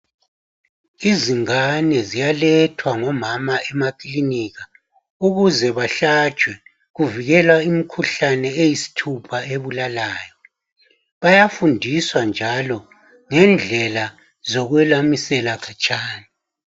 Izingane ziyalethwa ngomama emaklinika ukuze bahlatshwe kuvikelwa imikhuhlane eyisithupha ebulalayo bayafundiswa njalo ngendlela zokwelamisela khatshana